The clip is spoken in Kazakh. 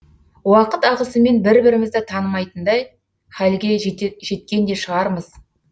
уақыт ағысымен бір бірімізді танымайтындай халге жеткен де шығармыз